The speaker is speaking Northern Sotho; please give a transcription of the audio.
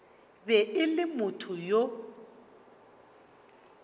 be e le motho yo